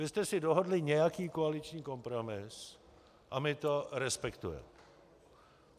Vy jste si dohodli nějaký koaliční kompromis a my to respektujeme.